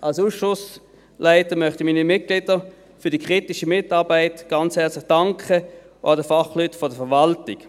Als Ausschussleiter möchte ich meinen Mitgliedern für die kritische Mitarbeit ganz herzlich danken und auch den Fachleuten der Verwaltung.